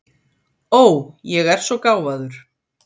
Ó, ég er svo gáfaður.